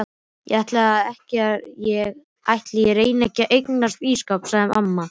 Ætli ég reyni ekki að eignast ísskáp sagði amma.